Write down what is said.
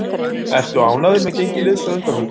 Ertu ánægður með gengi liðsins að undanförnu?